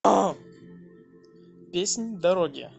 песнь дороги